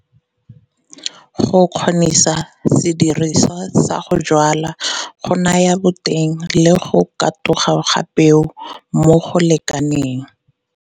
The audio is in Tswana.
Go kgonisa sediriswa sa go jwala go naya boteng le go katoga ga peo mo go lekaneng,